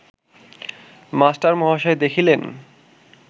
মাস্টারমহাশয় দেখিলেন